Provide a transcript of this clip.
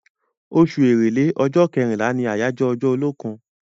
Osù èrèlé, ọjọ́ kẹrínlá ni ọjọ́ àyáyọ́ olókùn